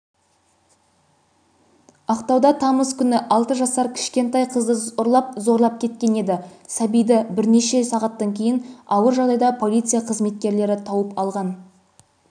ақтауда тамыз күні алты жасар кішкентай қызды ұрлап зорлап кеткен еді сәбиді бірнеше сағаттан кейін ауыр жағдайда полиция қызметкерлері тауып алған